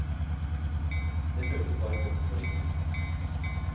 Det føles bare godt og riktig.